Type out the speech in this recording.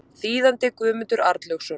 Þýðandi Guðmundur Arnlaugsson.